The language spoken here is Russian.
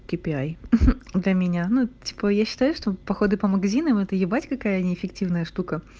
кипиай для меня ну типа я считаю что походы по магазинам это ебать какая неэффективная штука